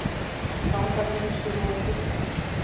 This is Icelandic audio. Fangageymslur voru fullar